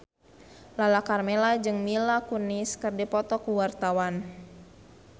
Lala Karmela jeung Mila Kunis keur dipoto ku wartawan